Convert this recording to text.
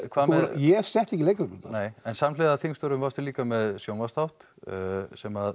ég setti ekki leikreglurnar nei en samhliða þingstörfum varstu líka með sjónvarpsþátt sem